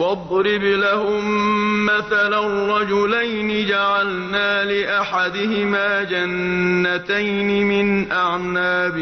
۞ وَاضْرِبْ لَهُم مَّثَلًا رَّجُلَيْنِ جَعَلْنَا لِأَحَدِهِمَا جَنَّتَيْنِ مِنْ أَعْنَابٍ